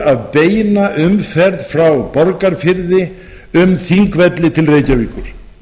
að beina umferð frá borgarfirði um þingvelli til reykjavíkur